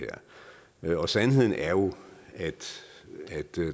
her og sandheden er jo at